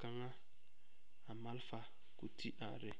kaŋa a malfa ti are.